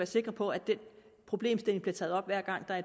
sikre på at problemstillingen bliver taget op hver gang der